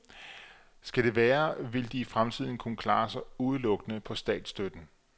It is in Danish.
Skal det være, vil de i fremtiden kunne klare sig udelukkende på statsstøtten.